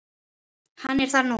Hann er þar nú.